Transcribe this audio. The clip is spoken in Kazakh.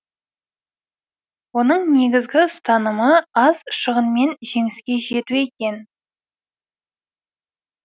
оның негізгі ұстанымы аз шығынмен жеңіске жету екен